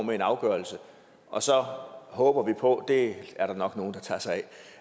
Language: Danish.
med en afgørelse og så håber vi på at det er der nok nogle der tager sig